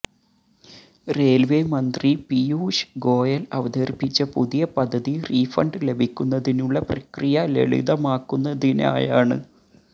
railway മന്ത്രി പീയൂഷ് ഗോയൽ അവതരിപ്പിച്ച പുതിയ പദ്ധതി റീഫണ്ട് ലഭിക്കുന്നതിനുള്ള പ്രക്രിയ ലളിതമാക്കുന്നതിനായാണ്